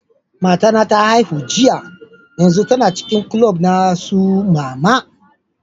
Mata na ta haihu jiya, yanzun tana cikin kulob na su mama.